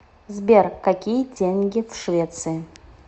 сбер какие деньги в швеции